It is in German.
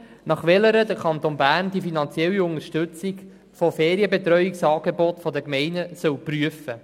Laut dieser soll der Kanton Bern die finanzielle Unterstützung von Ferienbetreuungsangeboten der Gemeinden prüfen.